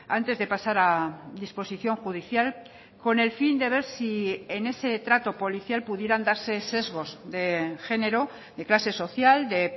antes de pasar a disposición judicial con el fin de ver si en ese trato policial pudieran darse sesgos de género de clase social de